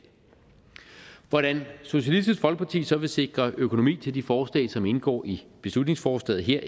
hvordan socialistisk folkeparti så vil sikre økonomi til de forslag som indgår i beslutningsforslaget her